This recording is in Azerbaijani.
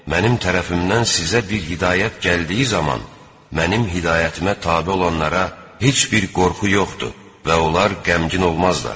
Mənim tərəfimdən sizə bir hidayət gəldiyi zaman mənim hidayətimə tabe olanlara heç bir qorxu yoxdur və onlar qəmgin olmazlar.